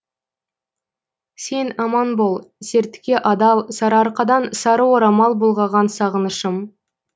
сен аман бол сертке адал сарыарқадансары орамал бұлғаған сағынышым